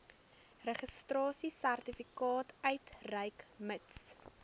registrasiesertifikaat uitreik mits